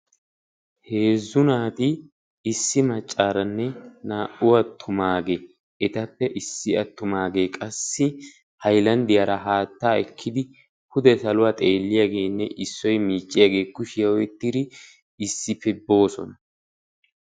heezzu naati issi mccaaranne naa''u attumage etappe issi attumaage qassi haylanddiyaara haatta ekkiidi oude sakuwaa xeeliyaageenne issoy miicciyagee kushiyaa ohettidi issi[ppe boosona.